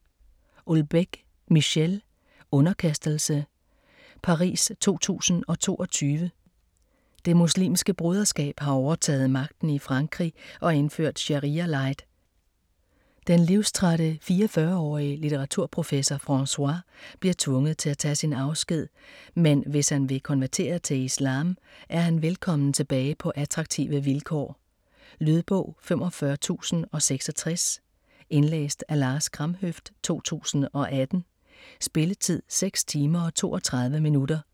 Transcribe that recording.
Houellebecq, Michel: Underkastelse Paris 2022. Det Muslimske Broderskab har overtaget magten i Frankrig og indført sharia-light. Den livstrætte 44-årige litteraturprofessor Francois bliver tvunget til at tage sin afsked, men hvis han vil konvertere til islam, er han velkommen tilbage på attraktive vilkår. Lydbog 45066 Indlæst af Lars Kramhøft, 2018. Spilletid: 6 timer, 32 minutter.